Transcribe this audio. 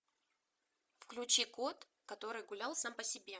включи кот который гулял сам по себе